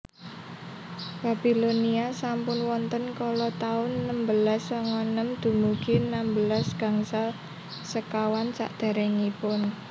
Babilonia sampun wonten kala taun enem belas songo enem dumugi enem belas gangsal sekawan Sakderengipun Masehi